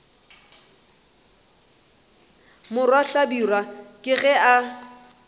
morwa hlabirwa ke ge a